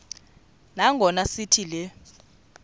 nangona sithi le